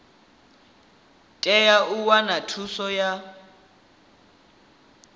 tea u wana thuso ya